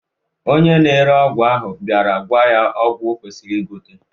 Onye na-ere ọgwụ ahụ bịara gwa ya ọgwụ okwesiri igote